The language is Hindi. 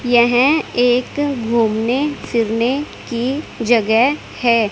यह एक घूमने फिरने की जगह है।